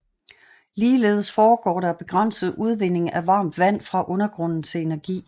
Ligeledes foregår der begrænset udvinding af varmt vand fra undergrunden til energi